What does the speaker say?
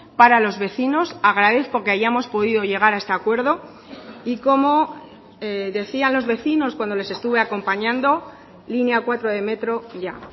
para los vecinos agradezco que hayamos podido llegar a este acuerdo y como decían los vecinos cuando les estuve acompañando línea cuatro de metro ya